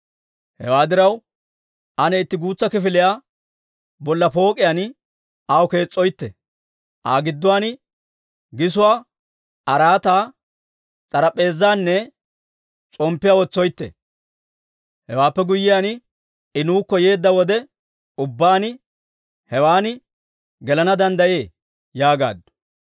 Hewaa diraw, ane itti guutsa kifiliyaa bolla pook'iyaan aw kees's'oytte; Aa gidduwaan gisuwaa, araataa, s'arap'p'eezaanne s'omppiyaa wotsoytte. Hewaappe guyyiyaan, I nuukko yeedda wode ubbaan, hewan gelana danddayee» yaagaaddu.